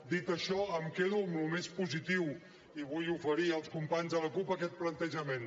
dit això em quedo amb el més positiu i vull oferir als companys de la cup aquest plantejament